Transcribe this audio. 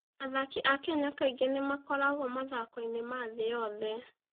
Athaki a Kenya kaingĩ nĩ makoragwo mathako-inĩ ma thĩ yothe.